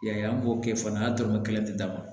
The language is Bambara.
Y'a ye an b'o kɛ fana n'a dɔrɔmɛ kelen tɛ d'a ma